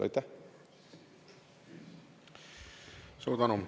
Suur tänu!